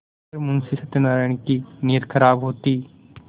अगर मुंशी सत्यनाराण की नीयत खराब होती